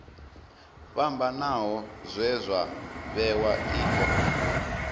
fhambanaho zwe zwa vhewa io